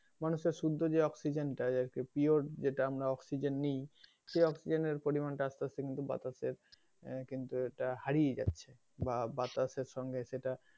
মানুষের শুদ্ধ যে অক্সিজেনটা pure যেটা অক্সিজেন আমরা নেই সেই অক্সিজেনের পরিমাণটা কিন্তু আসতে আসতে বাতাসে আহ কিন্তু এটা হারিয়ে যাচ্ছে বা বাতাসের সঙ্গে সেটা,